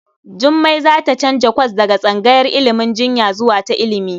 Jummai za ta canza kwas daga tsangayar ilimin injiniya zuwa ta ilimi.